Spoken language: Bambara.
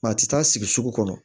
a tɛ taa sigi sugu kɔnɔ